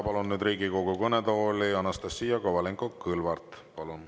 Palun Riigikogu kõnetooli Anastassia Kovalenko-Kõlvarti.